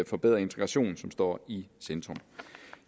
forbedret integration som står i centrum